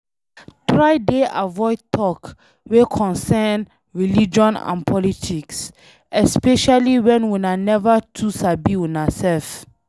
Try dey avoid talk wey concern religion and politics, especially when una never too sabi una self